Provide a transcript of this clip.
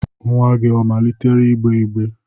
Nwa gị amalitela gbewa igbe?